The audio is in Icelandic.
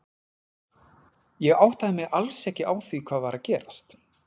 Ég áttaði mig alls ekki á því hvað var að gerast.